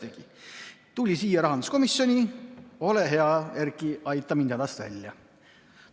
Loomulikult tuli siia rahanduskomisjoni, et ole hea, Erki, aita hädast välja.